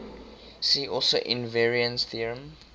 see also invariance theorem